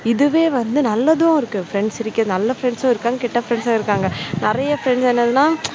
இதுவே வந்து நல்லதும் இருக்கும் friends இருக்க நல்ல frineds இருக்காங்க கெட்ட friends இருக்காங்க. நிறைய friends என்னதுன்னா